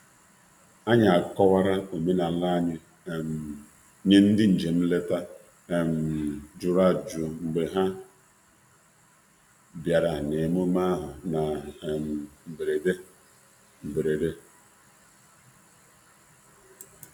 Anyị jere ịkọwara ndị njem na-achọ ịmata ihe banyere ọdịnala anyị bụ́ ndị kwoo batara n'ike nee emume ahụ.